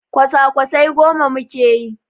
Kwasa-kwasai goma muke yi.